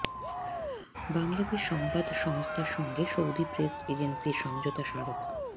বাংলাদেশ সংবাদ সংস্থার সঙ্গে সৌদি প্রেস এজেন্সির সমঝোতা স্মারক